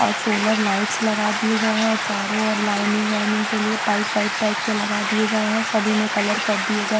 और solar lights लगा दिए गए हैं और चारों ओर लाइनिंग वाइनिंग के लिए पाइप वाइप टाइप के लगा दिए गए हैं सभी में कलर कर दिए गए हैं।